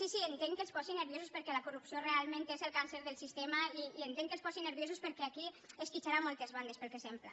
sí sí entenc que els posi nerviosos perquè la corrupció realment és el càncer del sistema i entenc que els posi nerviosos perquè aquí esquitxarà cap a moltes bandes pel que sembla